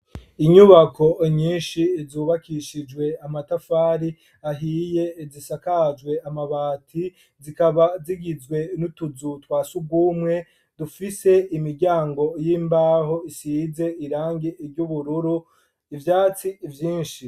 Inyubako nyinshi zubakishijwe amatafari ahiye zisakajwe amabati zikaba zigizwe n'utuzu twa sugumwe dufise imiryango y'imbaho isize irangi ry'ubururu ivyatsi vyinshi.